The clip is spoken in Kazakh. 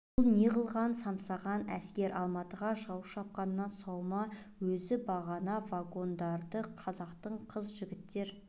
бұл неғылған самсаған әскер алматыға жау шапқаннан сау ма өзі бағана вагондарды қазақтың қыз-жігіттер